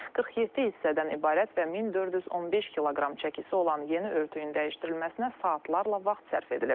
47 hissədən ibarət və 1415 kq çəkisi olan yeni örtüyün dəyişdirilməsinə saatlarla vaxt sərf edilib.